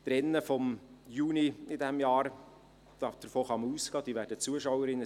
Die Rennen vom Juni dieses Jahres werden Zuschauerinnen und Zuschauer nach Bern bringen;